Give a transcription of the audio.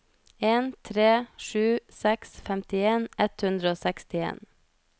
en tre sju seks femtien ett hundre og sekstien